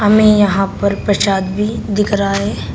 में यहां पर प्रसाद भी दिख रहा है।